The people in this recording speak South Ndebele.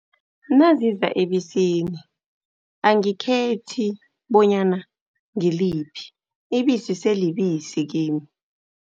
Naziza ebisini angikhethi bonyana ngiliphi. Ibisi selibisi kimi.